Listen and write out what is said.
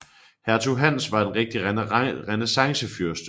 Hertug Hans var en rigtig renæssancefyrste